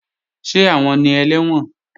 Ṣé àwọn ni ẹlẹ́wọ̀n?